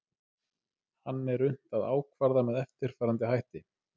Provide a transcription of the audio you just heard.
hann er unnt að ákvarða með eftirfarandi hætti